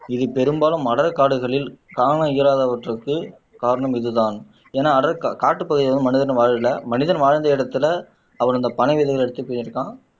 இது பெரும்பாலும் அடர் காடுகளில் காண இயலாதவற்றிற்கு காரணம் இதுதான் என அடர் கா காட்டுப்பகுதியில வந்து மனிதன் வாழல மனிதன் வாழ்ந்த இடத்துல அவர் அந்த பனை விதைகளை எடுத்துட்டு போயிருக்கான்